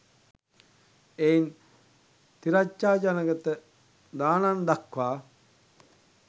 එයින් තිරච්ඡානගතෙ දානං දත්වා